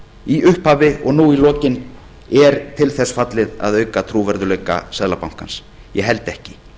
í upphafi og nú í lokin sé til þess fallið að auka trúverðugleika seðlabankans ég held ekki